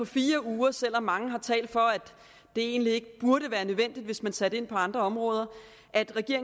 fire uger selv om mange har talt for at det egentlig ikke burde være nødvendigt hvis man satte ind på andre områder